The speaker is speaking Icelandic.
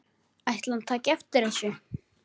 Ætli hann taki eftir þessu?